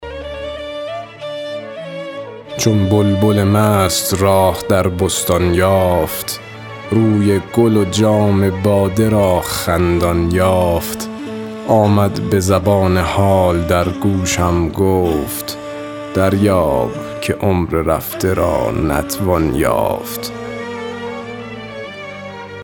چون بلبل مست راه در بستان یافت روی گل و جام باده را خندان یافت آمد به زبان حال در گوشم گفت دریاب که عمر رفته را نتوان یافت